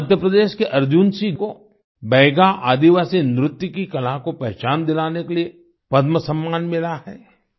मध्य प्रदेश के अर्जुन सिंह को बैगा आदिवासी नृत्य की कला को पहचान दिलाने लिए पद्म सम्मान मिला है